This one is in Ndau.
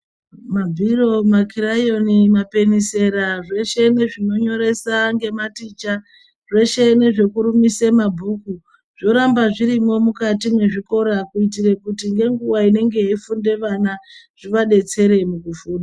Mabhiro makirayoni mapenesera zveshe zvinonyoreswa nematicha zveshe nezvekurumisa mabhuku Zviramba zvirimo mukati mwezvikora kuitira kuti ngenguwa inenge yeifunda vana zvivadetsere pakufunda.